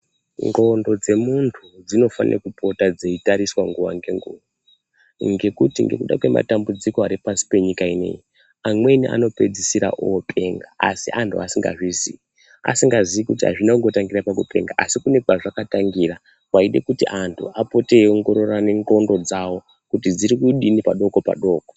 Ndxondo dzemuntu dzinofane kupota dzeyitariswa nguwa ngenguwa, ngekuti ngekuda kwematambudziko ari pashi penyika ineyi, amweni anopedzisira openga, asi antu asingazviziyi, asingaziyi kuti azvina kungotangira pakupenga asi kune kwazvakatangira, kwayide kuti antu apote eyiongororana ndxondo dzawo kuti dziri kudini padoko padoko.